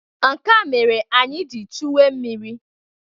Nke a mere anyị ji chuwe mmiri.